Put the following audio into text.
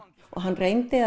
hann reyndi